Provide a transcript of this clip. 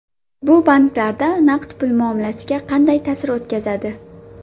Bu banklarda naqd pul muomalasiga qanday ta’sir o‘tkazadi?